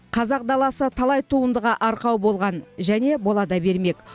қазақ даласы талай туындыға арқау болған және бола да бермек